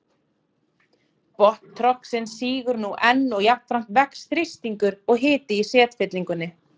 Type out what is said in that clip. Botn trogsins sígur nú enn og jafnframt vex þrýstingur og hiti í setfyllingunni.